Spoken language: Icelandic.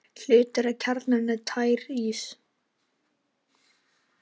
Hluti af kjarnanum er tær ís.